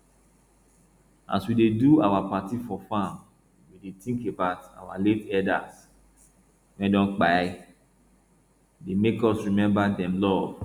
as we dey do our party for farm we dey think about our late elders wey don kpai e dey make we remember dem love